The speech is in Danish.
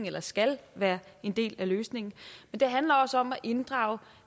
eller skal være en del af løsningen og det handler også om at inddrage